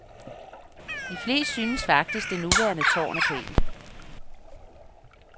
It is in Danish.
De fleste synes faktisk, det nuværende tårn er pænt.